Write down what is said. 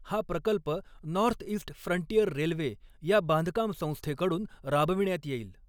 हा प्रकल्प northeast frontier railway या बांधकाम संस्थेकडून राबविण्यात येईल.